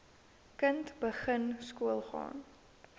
kind begin skoolgaan